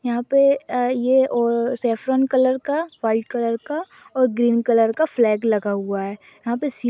यहाँ पे ये और सफ्रोन कलर का वाइट कलर का और ग्रीन कलर का फ्लैग लगा हुआ हैं यहाँ पे--